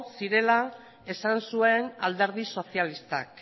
zirela esan zuen alderdi sozialistak